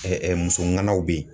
muso ŋanaw be yen